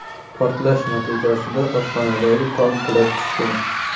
Portlash natijasida oshxonadagi tom qulab tushgan.